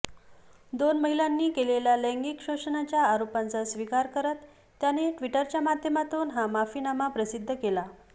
दोन महिलांनी केलेल्या लैंगिक शोषणाच्या आरोपांचा स्वीकार करत त्याने ट्विटरच्या माध्यमातून हा माफीनामा प्रसिद्ध केला